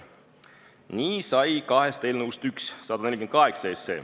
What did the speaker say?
Nii sai kahest eelnõust üks, eelnõu 148.